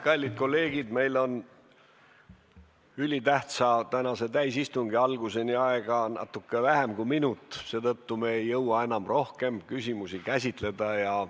Kallid kolleegid, meil on tänase ülitähtsa istungi alguseni aega natuke vähem kui minut, seetõttu me ei jõua enam rohkem teemasid käsitleda.